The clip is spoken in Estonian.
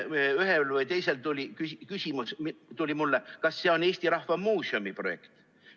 Ühel või teisel oli mulle küsimus, kas see on Eesti Rahva Muuseumi projekt.